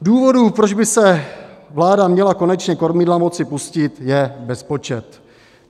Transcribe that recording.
Důvodů, proč by se vláda měla konečně kormidla moci pustit, je bezpočet.